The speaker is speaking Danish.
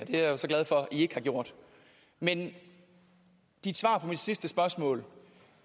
er jeg så glad for at i ikke har gjort men dit svar på mit sidste spørgsmål